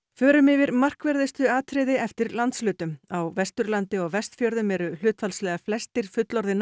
förum yfir markverðustu atriði eftir landshlutum á Vesturlandi og Vestfjörðum eru hlutfallslega flestir fullorðinna